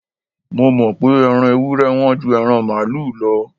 Mo mọ̀ pé Ẹran ewúré Wọ́n ju ẹran màlúù lọ